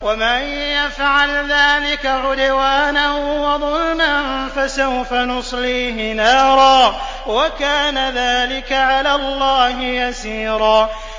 وَمَن يَفْعَلْ ذَٰلِكَ عُدْوَانًا وَظُلْمًا فَسَوْفَ نُصْلِيهِ نَارًا ۚ وَكَانَ ذَٰلِكَ عَلَى اللَّهِ يَسِيرًا